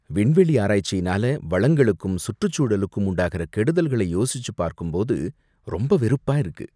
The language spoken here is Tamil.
விண்வெளி ஆராய்ச்சியினால வளங்களுக்கும் சுற்றுச்சூழலுக்கும் உண்டாகுற கெடுதல்களை யோசிச்சுப் பாக்கும்போது ரொம்ப வெறுப்பா இருக்கு.